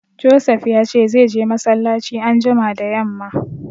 Josef ya ce zai je massalaci anjima da yamma